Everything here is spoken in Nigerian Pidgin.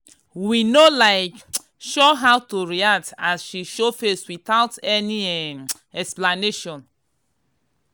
we no um sure how to react as she show face without any um explanation.